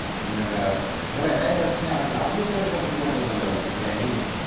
പിന്നല്ലാതെ നിങ്ങളെല്ലാരും റെഡ്മി ആന്നല്ല അവനു ഇപ്പം എടുത്തത് റെഡ്‌മി ആന്ന് തോന്നല്ലോ നിന്റ അനിയന്.